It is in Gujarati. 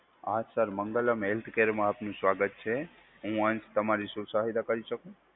હા સર મંગલમ હેલ્થ કેરમાં આપનું સ્વાગત છે. હું અંશ, તમારી શું સહાયતા કરી શકું?